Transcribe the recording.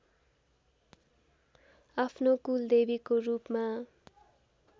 आफ्नो कुलदेवीको रूपमा